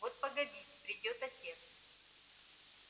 вот погодите придёт отец